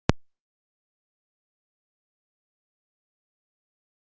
Nei, Bara leikmenn sem sparka boltanum og hlaupa?